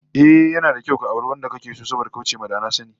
Ehh, yana da kyau ka auri wanda kake so saboda kauce ma da na sani